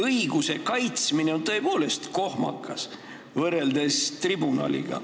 Õiguse kaitsmine on tõepoolest kohmakas võrreldes tribunaliga.